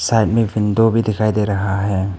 Side में एक window भी दिखाई दे रहा है।